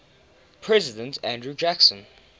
president andrew jackson